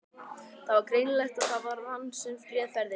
Það var greinilegt að það var hann sem réð ferðinni.